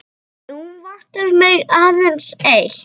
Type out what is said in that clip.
Nú vantar mig aðeins eitt!